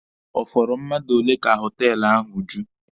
Ọ fọrọ mmadụ ole ka họtelụ ahụ ju?